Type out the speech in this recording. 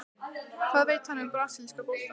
Hvað veit hann um brasilíska boltann?